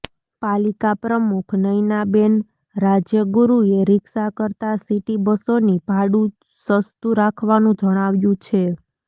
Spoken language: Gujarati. પાલિકા પ્રમુખ નયનાબેન રાજયગુરૃએ રિક્ષા કરતા સિટી બસોની ભાડું સસ્તું રાખવાનું જણાવ્યું છે